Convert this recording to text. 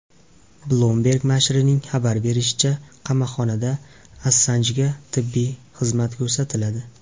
Bloomberg nashrining xabar berishicha, qamoqxonada Assanjga tibbiy xizmat ko‘rsatiladi.